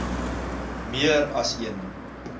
meer as een